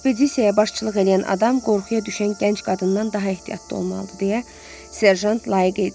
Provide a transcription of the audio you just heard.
Ekspedisiyaya başçılıq eləyən adam qorxuya düşən gənc qadından daha ehtiyatlı olmalıdır deyə serjant laqeydliklə cavab verdi.